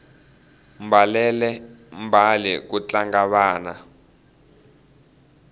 mbalele mbale ku tlanga vana